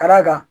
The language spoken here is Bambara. Ka d'a kan